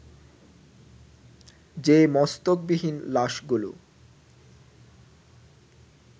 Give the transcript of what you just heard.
যে মস্তকবিহীন লাশগুলো